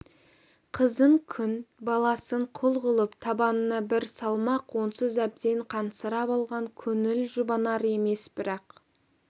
қызын күң баласын құл қылып табанына бір салмақ онсыз әбден қансырап алған көңіл жұбанар емес бірақ